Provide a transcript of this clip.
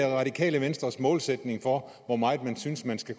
radikale venstres målsætning for hvor meget man synes man skal